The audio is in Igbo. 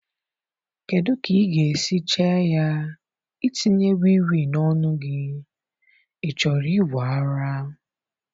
Kedụ ka ịga esi chee ya itinye Wii Wii n'onu gi, ị chọrọ ịwe ara?